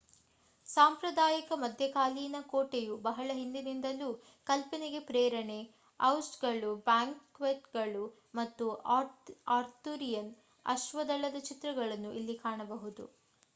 ಸಾಂಪ್ರದಾಯಿಕ ಮಧ್ಯಕಾಲೀನ ಕೋಟೆಯು ಬಹಳ ಹಿಂದಿನಿಂದಲೂ ಕಲ್ಪನೆಗೆ ಪ್ರೇರಣೆ ಜೌಸ್ಟ್‌ಗಳು ಬ್ಯಾಂಕ್ವೆಟ್‌ಗಳು ಮತ್ತು ಆರ್ಥುರಿಯನ್ ಅಶ್ವದಳದ ಚಿತ್ರಗಳನ್ನು ಇಲ್ಲಿ ಕಾಣಬಹುದು